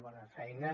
bona feina